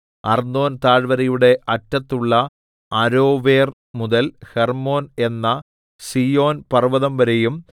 അർന്നോൻതാഴ്വരയുടെ അറ്റത്തുള്ള അരോവേർ മുതൽ ഹെർമ്മോൻ എന്ന സീയോൻപർവ്വതംവരെയും